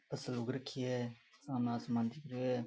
फसल उग राखी है सामने आसमान दिख रेहो है।